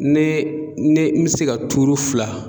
Ne ne mi se ka fila